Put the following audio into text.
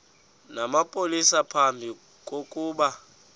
namapolisa phambi kokuba